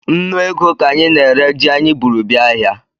Nnụ ego ka anyị na-ere ji anyị bụrụ bịa ahịa